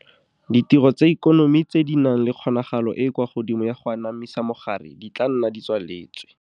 Ditiro tsa ikonomi tse di nang le kgonagalo e e kwa godimo ya go anamisa mogare di tla nna di tswaletswe.